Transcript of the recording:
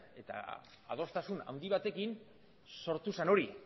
eta adostasun handi batekin sortu zen hori